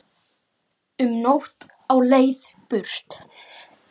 Um nótt á leið burt